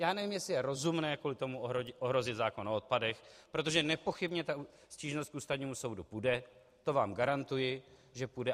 Já nevím, jestli je rozumné kvůli tomu ohrozit zákon o odpadech, protože nepochybně ta stížnost k Ústavnímu soudu půjde, to vám garantuji, že půjde.